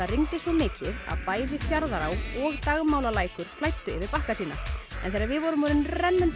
rigndi svo mikið að bæði Fjarðará og flæddu yfir bakka sína þegar við vorum orðin